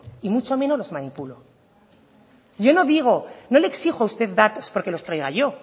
y mucho menos los manipulo yo no digo no le exijo a usted datos porque los traiga yo